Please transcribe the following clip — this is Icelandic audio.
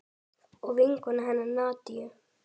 Og vinkonu hennar Nadiu.